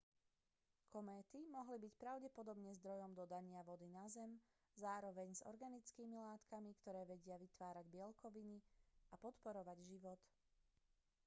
kométy mohli byť pravdepodobne zdrojom dodania vody na zem zároveň s organickými látkami ktoré vedia vytvárať bielkoviny a podporovať život